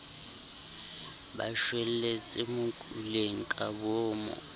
ba shwelletse mokuleng ka boomo